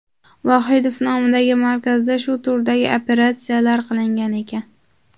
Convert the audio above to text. Vohidov nomidagi markazda shu turdagi operatsiyalar qilingan ekan.